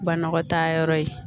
Banakɔtaa yɔrɔ ye